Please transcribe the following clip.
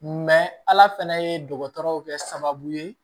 ala fana ye dɔgɔtɔrɔw kɛ sababu ye